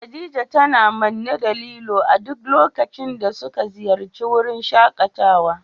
Khadija tana manne da lilo a duk lokacin da muka ziyarci wurin shakatawa.